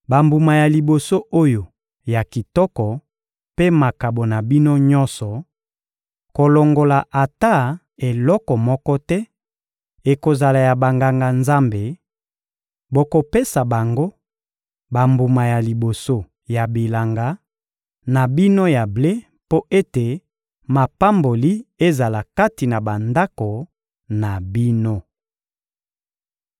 Bambuma ya liboso oyo ya kitoko mpe makabo na bino nyonso, kolongola ata eloko moko te, ekozala ya Banganga-Nzambe; bokopesa bango bambuma ya liboso ya bilanga na bino ya ble mpo ete mapamboli ezala kati na bandako na bino.